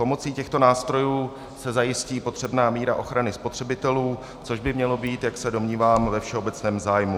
Pomocí těchto nástrojů se zajistí potřebná míra ochrany spotřebitelů, což by mělo být, jak se domnívám, ve všeobecném zájmu.